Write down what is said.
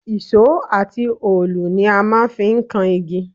Ìṣó àti òòlù ni a máa ń fi ń kan igi